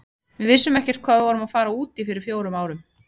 Við vissum ekkert hvað við vorum að fara út í fyrir fjórum árum.